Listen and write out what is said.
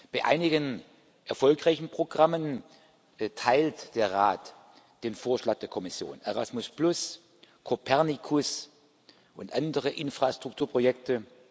Bei einigen erfolgreichen Programmen teilt der Rat den Vorschlag der Kommission Erasmus, Copernicus und andere Infrastrukturprojekte